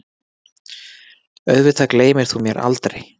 Auðvitað gleymir þú mér aldrei.